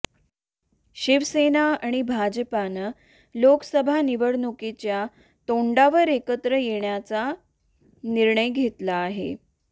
शिवसेना आणि भाजपानं लोकसभा निवडणुकीच्या तोंडावर एकत्र येण्याचा निर्णय घेतला आहे